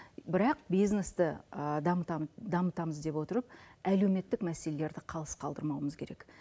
бірақ бизнесті дамытамыз деп отырып әлеуметтік мәселелерді қалыс қалдырмауымыз керек